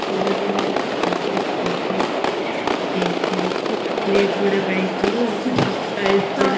ବହୁତ ବହୁତ games ଖେଳୁଥିଲୁ chocolate ଗୁରା ପାଇଥିଲୁ ଏମିତେ soft toys ଗୁଡା